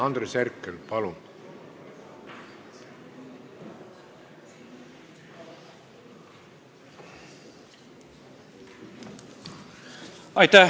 Andres Herkel, palun!